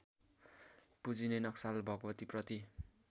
पुजिने Naxal भगवतीप्रति